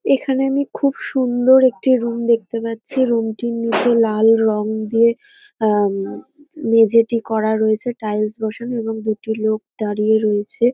এখানে আমি খুব সুন্দর একটি রুম দেখতে পাচ্ছি। রুম -টির নিচে লাল রঙ দিয়ে আহ উম মেঝেটি করা রয়েছে টাইলস বসানো এবং দুটি লোক দাঁড়িয়ে রয়েছে ।